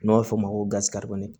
N'a bɛ f'o ma ko gazi kalikɔri